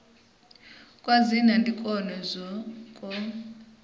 kwa dzina ndi kwone kwo